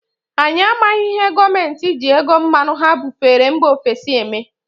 Anyị amaghị ihe gọọmenti ji ego mmanụ ha bufere mba ofesi eme.